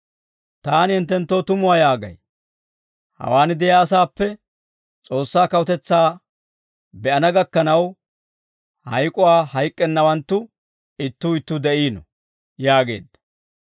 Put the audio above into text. Taani hinttenttoo tumuwaa yaagay; hawaan de'iyaa asaappe, S'oossaa kawutetsaa be'ana gakkanaw hayk'uwaa hayk'k'ennawanttu ittuu ittuu de'iino» yaageedda.